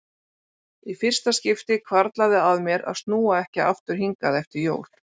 Í fyrsta skipti hvarflar að mér að snúa ekki aftur hingað eftir jól.